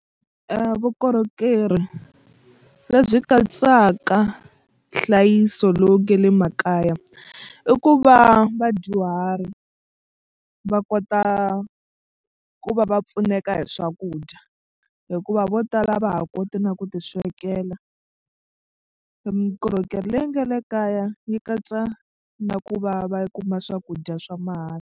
Vukorhokeri lebyi katsaka nhlayiso lowu nge le makaya i ku va vadyuhari va kota ku va va pfuneka hi swakudya hikuva vo tala va ha koti na ku tiswekela mikorhokerhi leyi nga le kaya yi katsa na ku va va kuma swakudya swa mahala.